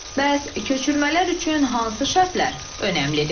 Bəs köçürmələr üçün hansı şərtlər önəmlidir?